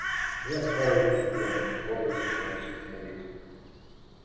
я старый диссидент с гордостью сообщил старик